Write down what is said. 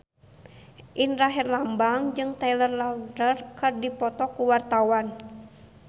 Indra Herlambang jeung Taylor Lautner keur dipoto ku wartawan